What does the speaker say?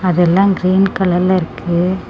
அது எல்லா கிரீன் கலர்ல இருக்கு.